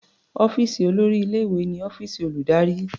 Ọ́fíìsì olórí ilé-ìwé ni ọ́fíìsì olùdarí.